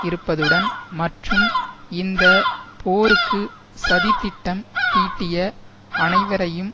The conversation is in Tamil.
இருப்பதுடன் மற்றும் இந்த போருக்கு சதி திட்டம் தீட்டிய அனைவரையும்